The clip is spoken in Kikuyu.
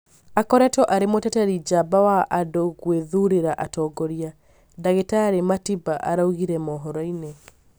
akoretwo arĩ mũteteri njamba wa andũ gwĩthurĩra atongoria," ndagĩtarĩ Matiba araugirĩ mohoro-inĩ